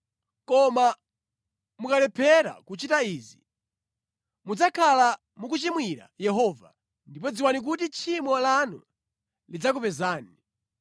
“Koma mukalephera kuchita izi, mudzakhala mukuchimwira Yehova. Ndipo dziwani kuti tchimo lanu lidzakupezani.